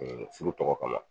furu tɔgɔ kama